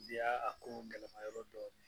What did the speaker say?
Bi y'a a ko gɛlɛma yɔrɔ dɔni